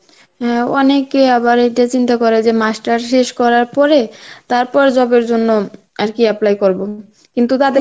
অ্যাঁ অনেকে আবার এটা চিন্তা করে যে masters শেষ করার পরে তারপরে job এর জন্য আর কি apply করব. কিন্তু তাদের